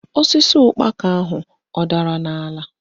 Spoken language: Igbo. Osisi ụkpaka ahụ adara n'ala?